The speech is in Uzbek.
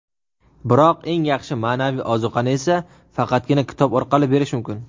biroq eng yaxshi ma’naviy ozuqani esa faqatgina kitob orqali berish mumkin.